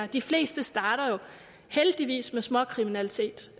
de fleste starter jo heldigvis med småkriminalitet